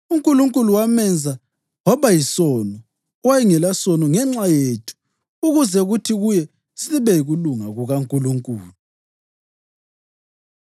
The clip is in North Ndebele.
UNkulunkulu wamenza waba yisono owayengelasono ngenxa yethu ukuze kuthi kuye sibe yikulunga kukaNkulunkulu.